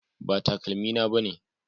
Ba takalmina bane